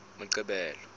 moqebelo